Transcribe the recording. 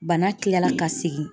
Bana tilala ka segin